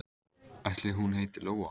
Ætli hún heiti Lóa?